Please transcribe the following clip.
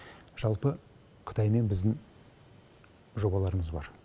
жалпы қытаймен біздің жобаларымыз бар